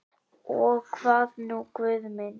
Og hvað nú Guð minn?